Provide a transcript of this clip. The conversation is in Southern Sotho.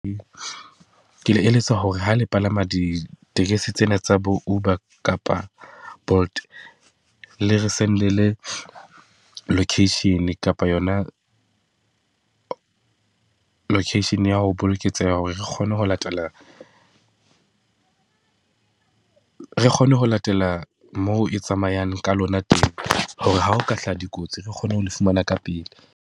Ke le eletsa hore ha le palama ditekesi tsena tsa bo Uber kapa Bolt le re send-ele location kapa yona location ya ho boloketseha hore re kgone ho latela, re kgone ho latela moo e tsamayang ka lona . Hore ha o ka hlaha dikotsi, re kgone ho fumana ka pele.